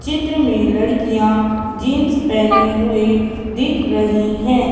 चित्र में लड़कियां जींस पहनी हुई दिख रही हैं।